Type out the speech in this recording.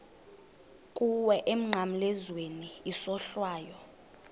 kuwe emnqamlezweni isohlwayo